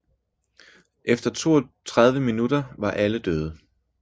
Efter 32 minutter var alle døde